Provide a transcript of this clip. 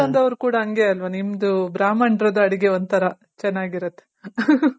ದೇವಸ್ಥಾನದವ್ರು ಕೂಡ ಹಂಗೆ ಅಲ್ವ ನಿಮ್ದು ಬ್ರಾಹ್ಮಣರದು ಅಡ್ಗೆ ಒಂತರ ಚೆನಾಗಿರುತ್ತೆ